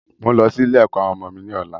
Mo n lọ sí ilé-ẹ̀kọ́ àwọn ọmọ mi ni ọ̀la.